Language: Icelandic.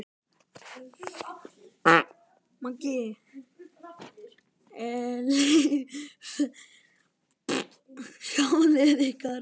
Megi eilífð vernda sálir ykkar.